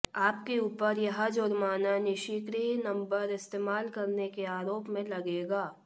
आपके ऊपर यह जुर्माना निष्क्रिय नंबर इस्तेमाल करने के आरोप में लगेगा